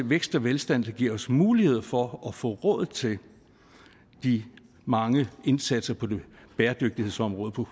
vækst og velstand der giver os mulighed for at få råd til de mange indsatser på bæredygtighedsområdet